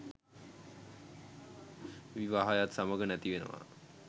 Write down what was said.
විවාහයත් සමග නැති වෙනවා.